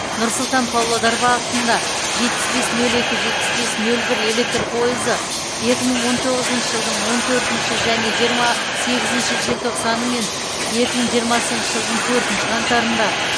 нұр сұлтан павлодар бағытында жетпіс бес нөл екі жетпіс бес нөл бір электр пойызы екі мың он тоғызыншы жылдың он төртінші және жиырма сегізінші желтоқсаны мен екі мың жиырмасыншы жылдың төртінші қаңтарында